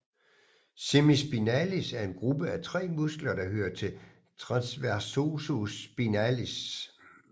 Semispinalis er en gruppe af tre muskler der hører til transversospinales